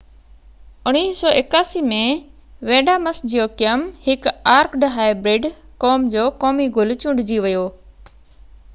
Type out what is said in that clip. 1981 ۾ Vanda Miss Joaquim هڪ orchid hybrid قوم جو قومي گل چونڊجي ويو